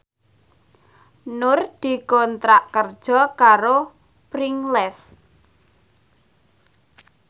Nur dikontrak kerja karo Pringles